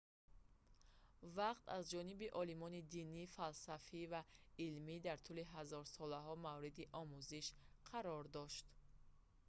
вақт аз ҷониби олимони динӣ фалсафӣ ва илмӣ дар тӯли ҳазорсолаҳо мавриди омӯзиш қарор дошт